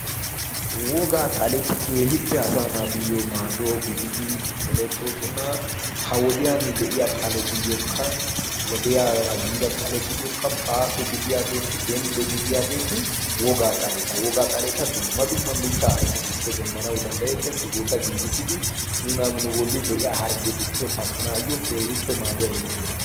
wogaa xaleti keehippe asa naatuyyo maaduwau gididi erettoosona. ha wodiyan de'iya xaletuyyookka wodiyaara yiida xaletuyyookka baaso gidiyaageeti denddo gidiyaageeti wogaa xaleta wogaa xaleta dumma dumma mittaa ayfetuppe demmanau danddayettes. sigeeta giigissidi nuna nu bolli de'iya harggetuppe paxanaayyo keehippe maaduwaa immiyaabaata.